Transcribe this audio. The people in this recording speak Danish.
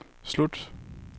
slut